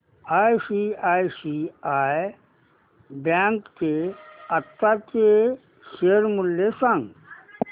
ICICI bank चे आताचे share मूल्य सांगा